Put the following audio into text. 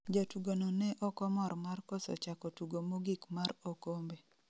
Jatugo no ne okomor mar koso chako tugo mogik mar okombe